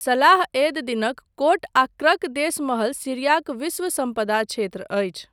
सलाह एद दिनक कोट आ क्रक देस महल सीरियाक विश्व सम्पदा क्षेत्र अछि।